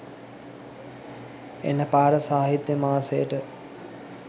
එන පාර සාහිත්‍ය මාසයට.